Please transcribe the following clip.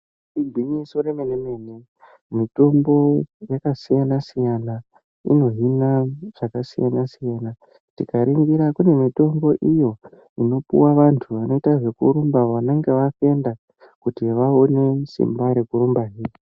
Igwinyiso remene mene mitombo yakasiyana siyana inohina zvakasiyana siyana. Tikaringira kune mitombo iyo inopuwa vantu vanoita zvekurumba vanenge vafenda kuti vaone simba rekurumbahe.